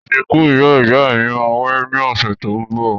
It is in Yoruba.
Ìsìkú ìyá-ìyámí má wáyé ni ọ̀sẹ̀ to n bọ̀